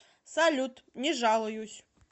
салют не жалуюсь